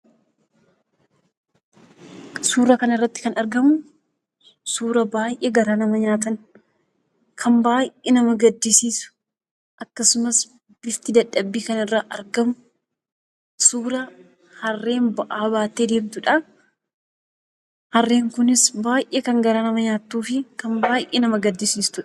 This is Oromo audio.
Suura kana irratti kan argamusuura baayyee garaa nama nyaata , kan baayyee nama gaddisiisu akkasumas bifti dadhabbii kan irraa argamu, suuraa harreen ba'aa baattee deemtudha. Harreen kunis baayyee kan garaa nama nyaattuu fi kan baayyee nama gaddisiistudha.